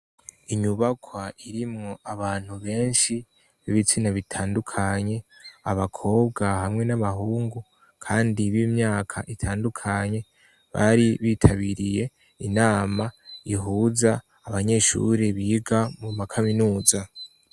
Inyubakwa irimwo abantu benshi, b'ibitsina bitandukanye, abakobwa hamwe n'abahungu, kandi b'imyaka itandukanye, bari bitabiriye inama ihuza abanyeshuri biga mu makaminuza.